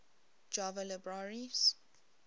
java libraries